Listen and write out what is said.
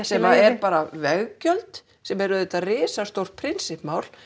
sem eru bara veggjöld sem eru auðvitað risastórt prinsippmál